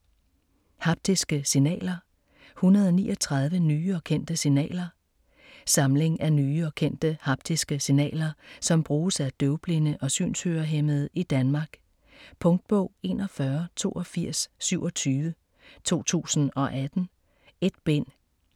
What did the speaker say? Haptiske signaler: 139 nye og kendte signaler Samling af nye og kendte haptiske signaler, som bruges af døvblinde og synshørehæmmede i Danmark. Punktbog 418227 2018. 1 bind.